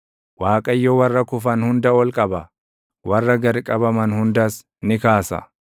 Waaqayyo warra kufan hunda ol qaba; warra gad qabaman hundas ni kaasa.